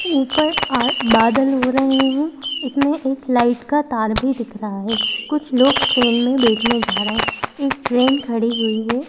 ऊपर आ बादल हो रहे हैं इसमें एक लाइट का तार भी दिख रहा है कुछ लोग ट्रेन में बैठने जा रहे हैं एक ट्रेन खड़ी हुई है।